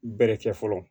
Bɛrɛ kɛ fɔlɔ